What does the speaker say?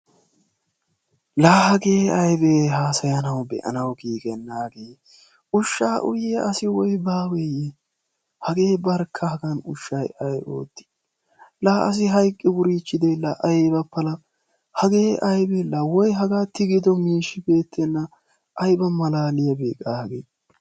la hagee aybee hasayaanaw be'anaw giigenaagee! ushshaa uyiyaa asi woyi baaweeye. hagee barkka haagan ushay ay oottii? la asi hayqqi wurichiidiye la ayba pala. hagee aybee la woy hagaa tigido miishi eretenna. aybba malaliyaabe hagee?